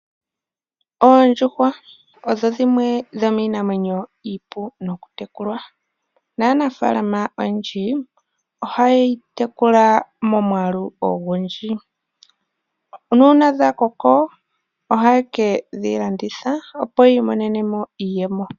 Oondjuhwa odho dhimwe dhomiinamwenyo iipu nokutekulwa. Nanaafaalama oyendji ohaye yi tekula momwaalu ogundji, nuuna dha koko ohaye ke dhi landitha opo yi imonene mo iiyemo.